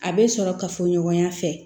A bɛ sɔrɔ ka fɔ ɲɔgɔnya fɛ